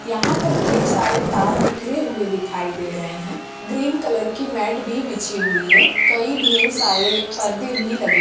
यहाँ पर ढ़ेर सारे तार बिख़रे हुए दिखाई दे रहे हैं ग्रीन कलर की मैट भी बिछी हुई है कई ढ़ेर सारे पर्दे भी लगे --